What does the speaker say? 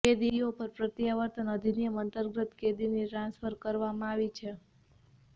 કેદીઓ પર પ્રત્યાવર્તન અધિનિયમ અંતર્ગત કેદીની ટ્રાન્સફર કરવામં આવી છે